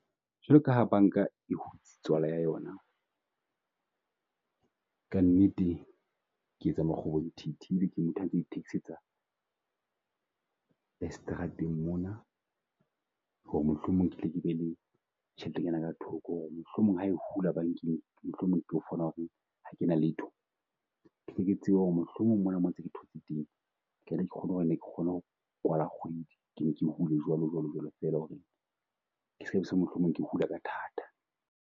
Jwaloka ha banka e tswala ya yona, ka nnete ke etsa makgobontiti taxi tsa strateng mona, ho re mohlomong ke tle ke be le tjheletenyana ka thoko. Ho re mohlomong ha e hula bankeng mohlomong e tlo fumana ho re ha kena letho. Tle ke tsebe ho re mohlomong mona mo ntse ke thotse teng, ke kgone ho re ne ke kgone ho kwala kgwedi. Ke ne ke hule jwalo jwalo jwalo fela ho re, ke mohlomong ke hula ka thata.